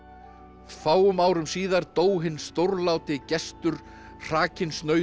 fáum árum síðar dó hinn Gestur hrakinn snauður